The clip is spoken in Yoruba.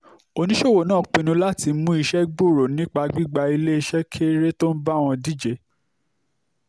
oníṣòwò náà pinnu láti mú iṣẹ́ gbòòrò nípa gbígba iléeṣẹ́ kéré tó ń bá wọn díje